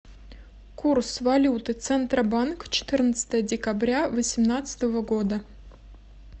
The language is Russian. курс валюты центробанк четырнадцатое декабря восемнадцатого года